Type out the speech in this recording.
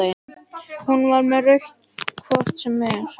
Hún var með rautt hvort sem er.